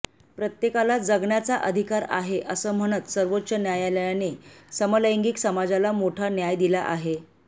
प्रत्येकाला जगण्याचा अधिकार आहे असं म्हणत सर्वोच्च न्यायालयाने समलैंगिक समाजाला मोठा न्याय दिला आहे